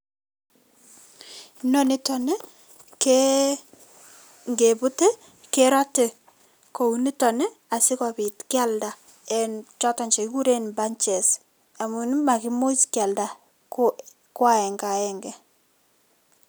Inonito ngebut kerotei kounito asikopit kialda eng choton che kikuren bunches amun makimuch kealda ko aenge aenge.